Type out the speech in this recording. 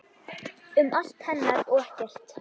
Um allt hennar og ekkert.